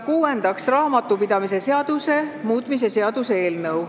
Kuuendaks, raamatupidamise seaduse muutmise seaduse eelnõu.